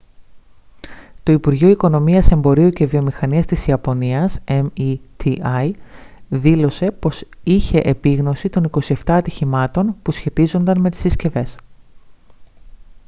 το υπουργείο οικονομίας εμπορίου και βιομηχανίας της ιαπωνίας meti δήλωσε πως είχε επίγνωση των 27 ατυχημάτων που σχετίζονταν με τις συσκευές